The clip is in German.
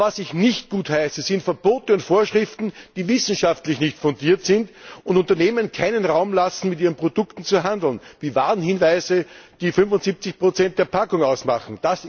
Aber was ich nicht gutheiße, sind Verbote und Vorschriften, die wissenschaftlich nicht fundiert sind und Unternehmen keinen Raum lassen, mit ihren Produkten zu handeln, wie Warnhinweise, die 75 der Packung ausmachen.